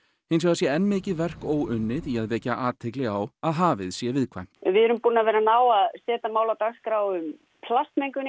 hins vegar sé enn mikið verk óunnið í að vekja athygli á að hafið sé viðkvæmt við erum búin að vera að ná að setja mál á dagskrá um plastmengun